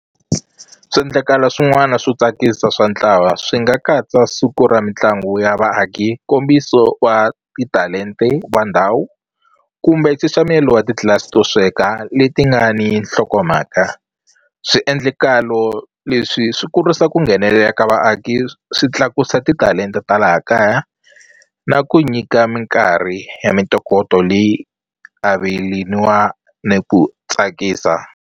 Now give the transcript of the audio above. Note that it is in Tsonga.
Swiendlakalo swin'wana swo tsakisa swa ntlawa swi nga katsa siku ra mitlangu ya vaaki nkombiso wa titalente wa ndhawu kumbe nxaxamelo wa titlilasi to sweka leti nga ni nhlokomhaka swiendlekalo leswi swi kurisa ku nghenelela ka vaaki swi tlakusa titalenta ta laha kaya na ku nyika minkarhi ya mintokoto leyi ni ku tsakisa.